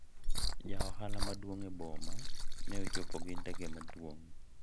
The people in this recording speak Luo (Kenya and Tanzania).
ja ohala maduong' e boma ne ochopo gi ndege maduong'